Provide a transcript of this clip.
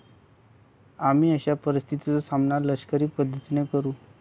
आम्ही अशा परिस्थितीचा सामना लष्करी पद्धतीने करू.